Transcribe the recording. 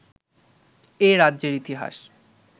এ রাজ্যের ইতিহাস